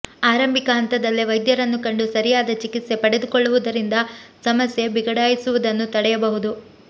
ಆರಂಭಿಕ ಹಂತದಲ್ಲೇ ವೈದ್ಯರನ್ನು ಕಂಡು ಸರಿಯಾದ ಚಿಕಿತ್ಸೆ ಪಡೆದುಕೊಳ್ಳುವುದರಿಂದ ಸಮಸ್ಯೆ ಬಿಗಡಾಯಿಸುವುದನ್ನು ತಡೆಯಬಹುದು